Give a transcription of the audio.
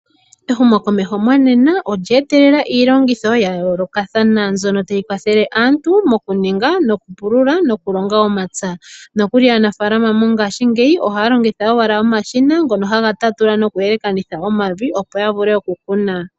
Ehumokomeho monena olyeetelela iilongitho ya yoolokathana mbyono tayi kwathele aantu mokuninga, okupulula nomokulonga omapya. Nokuli aanafalama mongashingeyi ohaya longitha wala omashina ngono haga tatula nokuyelekanitha omavi opo ya vule okukuna.